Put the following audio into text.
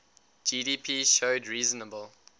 gdp showed reasonable